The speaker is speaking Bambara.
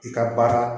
I ka baara